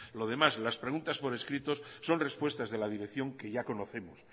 lo demás las preguntas por escrito son respuestas de la dirección que ya conocemos